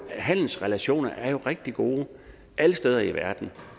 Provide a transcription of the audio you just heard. handelsrelationer er rigtig gode alle steder i verden